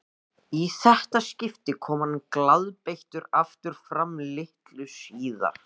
Í þetta skipti kom hann glaðbeittur aftur fram litlu síðar.